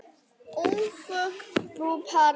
Ungfrú Paradís mætt!